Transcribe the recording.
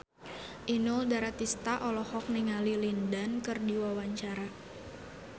Inul Daratista olohok ningali Lin Dan keur diwawancara